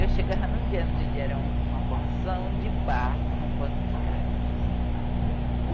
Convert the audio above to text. Eu chegava num dia, num dia era uma porção de barco em um posto de casa.